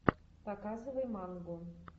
показывай мангу